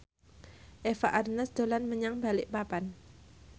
Eva Arnaz dolan menyang Balikpapan